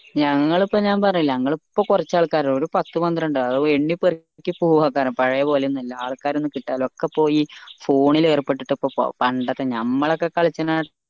ഞങ്ങൾ ഇപ്പൊ പറഞ്ഞില്ലേ ഞങ്ങൾ ഇപ്പൊ കൊറച്ച് ആൾക്കാരേയുള്ളു ഒരു പത്ത് പത്രണ്ട് ആൾക്കാർ ഇണ്ടാവും എണ്ണി പെറുക്കിയാൽ പോവ്ആർക്കാനും പഴേ പോലെ ഒന്ന്വല്ല ആൾക്കാരെ ഒന്നു കിട്ടാനില്ല ഒക്കെ പോയി phone ൽ ഏർപ്പിട്ടിട്ട ഇപ്പൊ പണ്ടത്തെ ഞമ്മളൊക്കെ കളിച്ചീനെ